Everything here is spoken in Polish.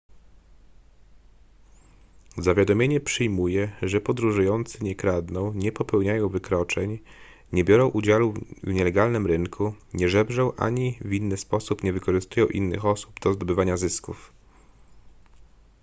zawiadomienie przyjmuje że podróżujący nie kradną nie popełniają wykroczeń nie biorą udziału w nielegalnym rynku nie żebrzą ani w inny sposób nie wykorzystują innych osób do zdobywania zysków